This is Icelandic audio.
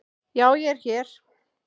Já ég er hér.